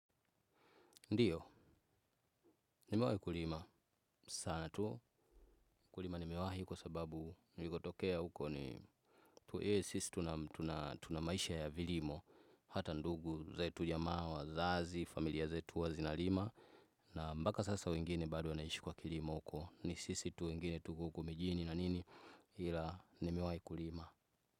Ndio, nimewahi kulima. Sana tu, kulima nimewahi kwa sababu, nilikotokea huko ni, tu, ee, sisi tuna maisha ya vilimo, hata ndugu, zetu jamaa, wazazi, familia zetu, huwa zinalima, na mpaka sasa wengine bado wanaishi kwa kilimo huko, ni sisi tu wengine tuko huku mijini na nini, ila nimewahi kulima.